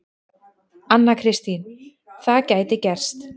Anna Kristín: Það gæti gerst.